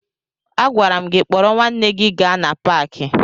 Agwara m gị kpọrọ nwanne gị gaa na paakị!